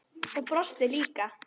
Og brosti líka.